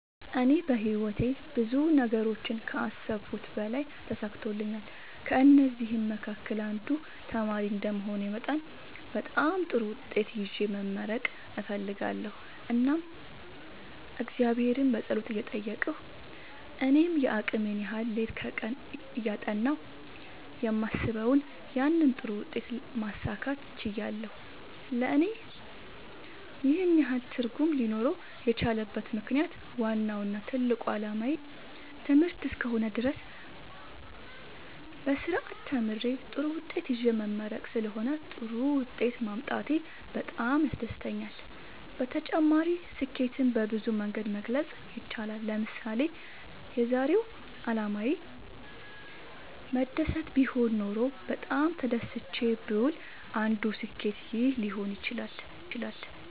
እኔ በህይወቴ ብዙ ነገሮችን ከአሰብሁት በላይ ተሳክተውልኛል ከእነዚህም መካከል አንዱ ተማሪ እንደመሆኔ መጠን በጣም ጥሩ ውጤት ይዤ መመረቅ እፈልጋለሁ እናም እግዚአብሔርን በጸሎት እየጠየቅሁ እኔም የአቅሜን ያህል ሌት ከቀን እያጠናሁ የማስበውን ያንን ጥሩ ውጤት ማሳካት ችያለሁ ለእኔ ይህን ያህል ትርጉም ሊኖረው የቻለበት ምክንያት ዋናው እና ትልቁ አላማዬ ትምህርት እስከ ሆነ ድረስ በስርአት ተምሬ ጥሩ ውጤት ይዤ መመረቅ ስለሆነ ጥሩ ውጤት ማምጣቴ በጣም ያስደስተኛል። በተጨማሪ ስኬትን በብዙ መንገድ መግለፅ ይቻላል ለምሳሌ የዛሬው አላማዬ መደሰት ቢሆን ኖሮ በጣም ተደስቼ ብውል አንዱ ስኬት ይህ ሊሆን ይችላል